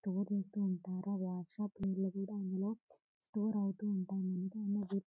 store చేస్తూ ఉంటారు ఆ వార్ షాప్ నీళ్లు కూడా అందులో స్టోర్ అవుతూ ఉంటాయి--